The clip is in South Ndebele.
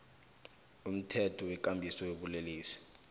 umthetho wekambiso yobulelesi